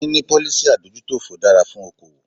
Níní policy adójútòfò dára fún okoòwò.